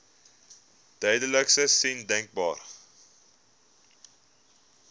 duidelikste sein denkbaar